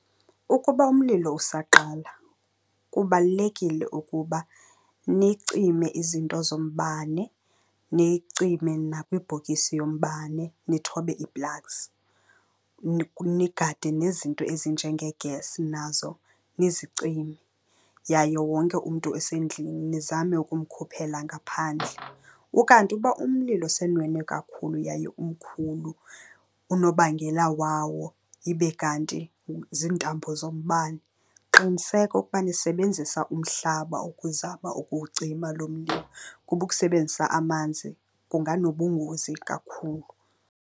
Ukuba umlilo usaqala, kubalulekile ukuba nicime izinto zombane, nicime nakwibhokisi yombane nithobe ii-plugs. Nigade nezinto ezinjengee-gas, nazo nizicime yaye wonke umntu osendlini nizame ukumkhuphela ngaphandle. Ukanti uba umlilo senwenwe kakhulu yaye umkhulu, unobangela wawo ibe kanti ziintambo zombane, qiniseka ukuba nisebenzisa umhlaba ukuzama ukuwucima loo mlimi kuba ukusebenzisa amanzi kunganobungozi kakhulu.